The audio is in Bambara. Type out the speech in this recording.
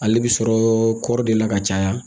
Ale bi sɔrɔ kɔri de la ka caya